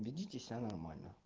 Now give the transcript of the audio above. ведите себя нормально